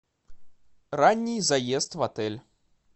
ранний заезд в отель